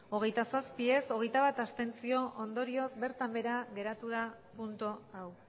hogeita zazpi ez hogeita bat abstentzio ondorioz bertan behera geratu da puntu hau